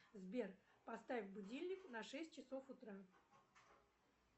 сбер поставь будильник на шесть часов утра